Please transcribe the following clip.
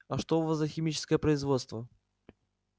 а что у вас за химическое производство